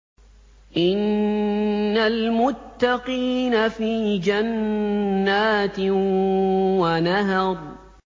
إِنَّ الْمُتَّقِينَ فِي جَنَّاتٍ وَنَهَرٍ